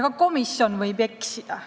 Ka komisjon võib eksida.